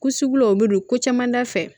Ko sugulaw bɛ don ko caman da fɛ